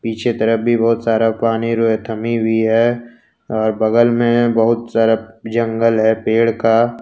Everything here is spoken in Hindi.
पीछे तरफ भी बहुत सारा पानी जो है थमी हुई है और बगल में बहुत सारा जंगल है पेड़ का।